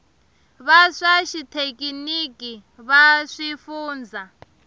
va swa xithekiniki va swifundzha